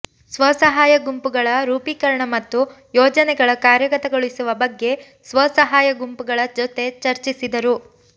ಸ್ವಸಹಾಯ ಗುಂಪುಗಳ ರೂಪೀಕರಣ ಮತ್ತು ಯೋಜನೆಗಳ ಕಾರ್ಯಗತಗೊಳಿಸುವ ಬಗ್ಗೆ ಸ್ವಸಹಾಯ ಗುಂಪುಗಳ ಜೊತೆ ಚರ್ಚಿಸಿದರು